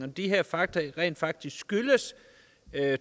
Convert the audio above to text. de her fakta rent faktisk skyldes